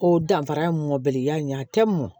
O danfara ye mɔbili y'an ye a tɛ mɔn